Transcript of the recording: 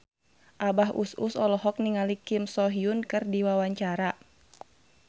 Abah Us Us olohok ningali Kim So Hyun keur diwawancara